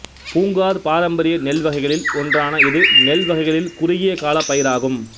பூங்கார் பாரம்பரிய நெல் வகைகளில் ஒன்றான இது நெல் வகைகளில் குறுகிய காலப் பயிராகும்